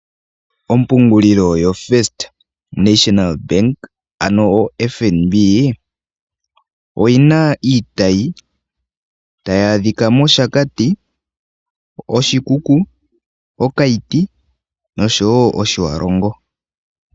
Oompungulilo yoFirst National Bank, ano o FNB oyina iitayi tayi adhika mOshakati, Oshikuku, oKaiti, noshowo Otjiwarongo.